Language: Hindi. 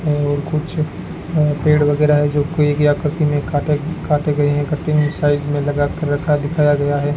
और कुछ अह पेड़ वगैरह है जो कोई आकृति में काटा काटे गए हैं कटिंग साइज में लगा कर रखा दिखाया गया है।